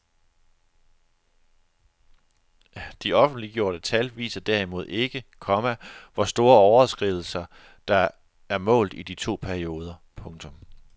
De offentliggjorte tal viser derimod ikke, komma hvor store overskridelser der er målt i de to perioder. punktum